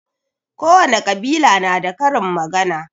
Kowane ƙabila na da karin magana